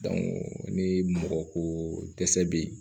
ni mɔgɔ ko dɛsɛ be yen